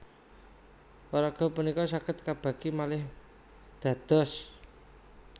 Paraga punika saged kabagi malih dados